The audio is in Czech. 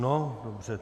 No dobře.